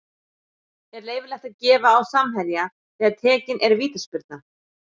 Er leyfilegt að gefa á samherja þegar tekin er vítaspyrna?